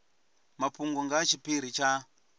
mafhungo nga ha tshiphiri tsha